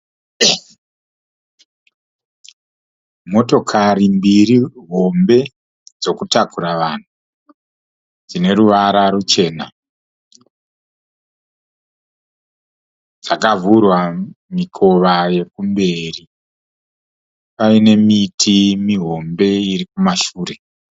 Motokari mbiri hombe dzokutakura vanhu dzine ruvara ruchena. Dzakavhurwa mikova yekumberi paine miti mihombe iri kumashure.